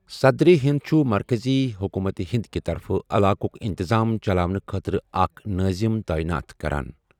صدر ہِند چھُ مرکزی حکومت ہند كہِ طرفہٕ علاقُک اِنتِظام چلاونہٕ خٲطرٕ اکھ نٲظِم تٲیِنات کران۔